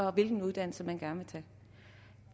og hvilken uddannelse man gerne vil tage